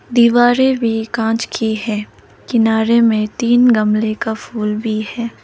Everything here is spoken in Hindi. दीवारे भी कांच की है किनारे में तीन गमले का फूल भी है।